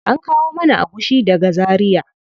An kawo mana agushi daga zaria.